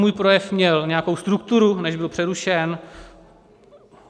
Můj projev měl nějakou strukturu, než byl přerušen.